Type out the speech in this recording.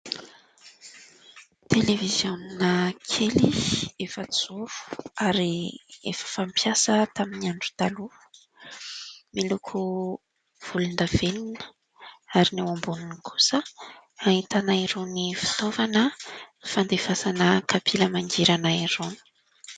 Televiziona kely efa-joro ary efa fampiasa tamin'ny andro taloha, miloko volondavenina ary ny eo amboniny kosa ahintana irony fitaovana fandefasana kapila mangirana irona.